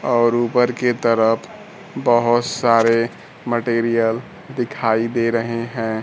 और ऊपर की तरफ बहोत सारे मटेरियल दिखाई दे रहे हैं।